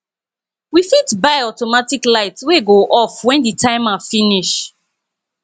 we fit buy automatic light wey go off when the timer finish